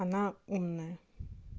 она умная